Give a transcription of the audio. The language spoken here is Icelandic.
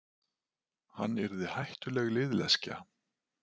Hann yrði hættuleg liðleskja.